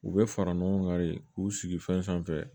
U bɛ fara ɲɔgɔn kan de k'u sigi fɛn sanfɛ